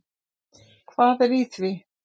Hvað er í því?